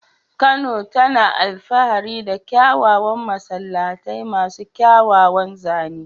Kano tana alfahari da kyawawan masallatai masu kyawawan zane.